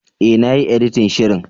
E, na yi editin shirin.